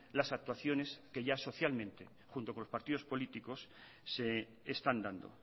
las actuaciones que ya socialmente junto con los partidos políticos se están dando